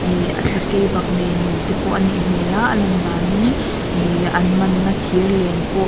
ihh sakei baknei nu tepawh anih hmel a alan danin ihh an manna thir len pawh--